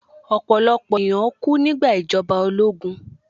Ọ̀pọ̀lọ̀pọ̀ ènìyàn kú nígbà ìjọba ológun